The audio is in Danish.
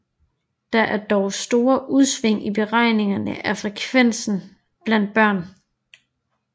Der er dog store udsving i beregningerne af frekvensen blandt børn